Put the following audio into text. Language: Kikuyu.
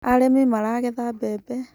Arĩmi maragetha mbembe